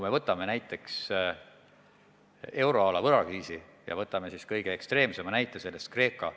Võtame või euroala võlakriisi ja võtame kõige ekstreemsema näite sellest, Kreeka.